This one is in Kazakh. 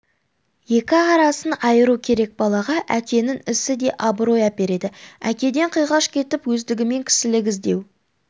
екі арасын айыру керек балаға әкенің ісі де абырой әпереді әкеден қиғаш кетіп өздігімен кісілік іздеу